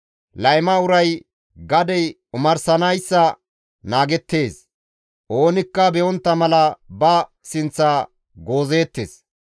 Layma uray gadey omarsanayssa naagettees; oonikka be7ontta mala ba sinththa goozeettes.